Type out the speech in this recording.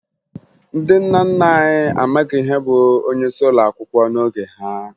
Ndị nna nna anyị amaghị ihe bụ onyeisi ụlọakwụkwọ n'oge ha